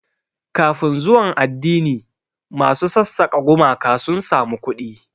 Kafin zuwan addini, masu sassaka gumaka sun samu kuɗi.